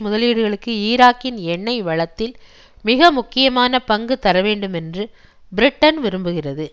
முதலீடுகளுக்கு ஈராக்கின் எண்ணெய் வளத்தில் மிக முக்கியமான பங்கு தர வேண்டுமென்று பிரிட்டன் விரும்புகிறது